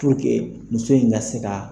muso in ka se ka